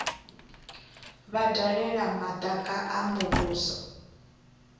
vha dalela madaka a muvhuso